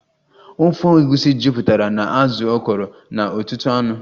Ofe egusi jupụtara na azụ akọrọ na ọtụtụ anụ